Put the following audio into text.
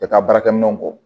I bɛ taa baarakɛminɛnw kɔ